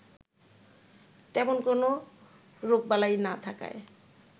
তেমন কোনো রোগবালাই না থাকায়